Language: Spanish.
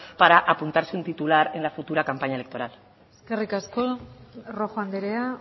para apuntarse un titular en la futura campaña electoral eskerrik asko rojo andrea